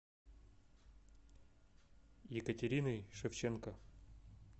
екатериной шевченко